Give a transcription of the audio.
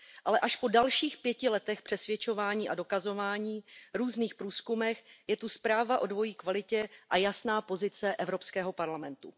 Ale až po dalších pěti letech přesvědčování a dokazování, různých průzkumech je tu zpráva o dvojí kvalitě a jasná pozice Evropského parlamentu.